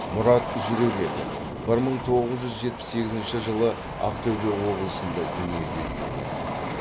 мұрат жүребеков бір мың тоғыз жүз жетпіс сегізінші жылы ақтөбе облысында дүниеге келген